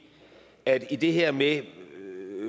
der i det her med